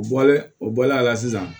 U bɔlen o bɔlen a la sisan